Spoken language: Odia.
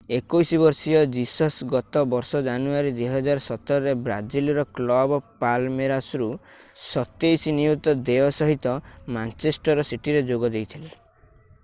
21 ବର୍ଷୀୟ ଜିସସ୍ ଗତ ବର୍ଷ ଜାନୁଆରୀ 2017 ରେ ବ୍ରାଜିଲର କ୍ଲବ ପାଲମେରାସରୁ £27 ନିୟୁତ ଦେୟ ସହିତ ମାଞ୍ଚେଷ୍ଟର ସିଟିରେ ଯୋଗ ଦେଇଥିଲେ